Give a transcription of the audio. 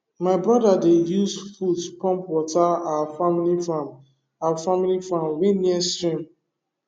my brother dey use foot pump water our family farm our family farm wey near stream